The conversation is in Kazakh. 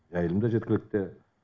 жайылым да жеткілікті